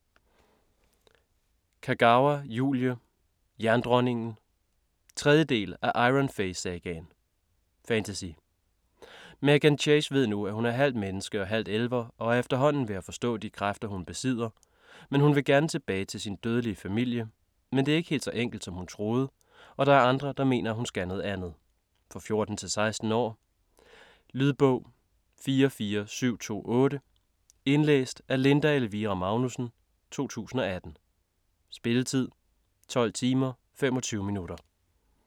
Kagawa, Julie: Jerndronningen 3. del af Iron Fey sagaen. Fantasy. Meghan Chase ved nu, at hun er halvt menneske og halvt elver og er efterhånden ved at forstå de kræfter hun besidder, men hun vil gerne tilbage til sin dødelige familie, men det er ikke helt så enkelt, som hun troede og der er andre, der mener hun skal noget andet. For 14-16 år. Lydbog 44728 Indlæst af Linda Elvira Magnussen, 2018. Spilletid: 12 timer, 25 minutter.